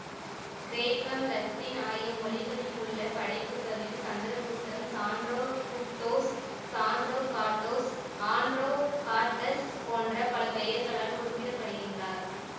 கிரேக்கம் இலத்தீன் ஆகிய மொழிகளிலுள்ள படைப்புக்களில் சந்திரகுப்தன் சாண்ட்ரோகுப்தோஸ் சாண்ட்ரோகாட்டோஸ் ஆண்ட்ரோகாட்டஸ் போன்ற பல பெயர்களால் குறிப்பிடப்படுகின்றார்